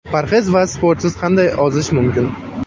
Parhez va sportsiz qanday ozish mumkin?